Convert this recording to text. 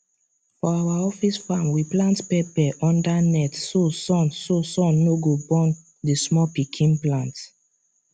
for our office farm we plant pepper under net so sun so sun no go burn the small pikin plant